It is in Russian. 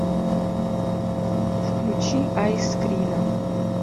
включи айскрина